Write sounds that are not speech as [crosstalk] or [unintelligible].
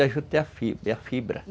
[unintelligible] juta é a fibra fibra